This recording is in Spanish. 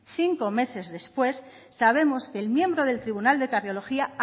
cinco meses después sabemos que el miembro del tribunal de cardiología